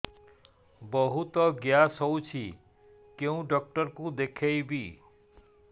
ବହୁତ ଗ୍ୟାସ ହଉଛି କୋଉ ଡକ୍ଟର କୁ ଦେଖେଇବି